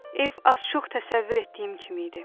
Ev az-çox təsəvvür etdiyim kimi idi.